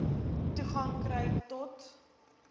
toegang kry to